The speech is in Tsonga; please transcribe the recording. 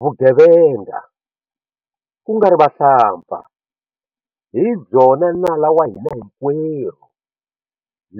Vugevenga, ku nga ri vahlampfa, hi byona nala wa hina hinkwerhu